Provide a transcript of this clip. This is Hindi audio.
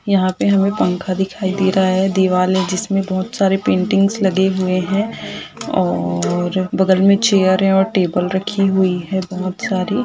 यहॉँ पे हमें पंखा दिखाई दे रहा है दीवार है जिसमें बहुत सारे पेंटिंग्स लगे हुए हैं और बगल मे चेयर है और टेबल रखी हुई हैं बहुत सारी।